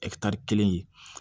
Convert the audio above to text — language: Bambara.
kelen ye